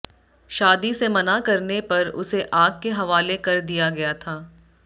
शादी से मना करने पर उसे आग के हवाले कर दिया गया था